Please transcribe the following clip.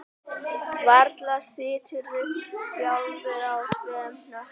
Varla siturðu sjálfur í tveim hnökkum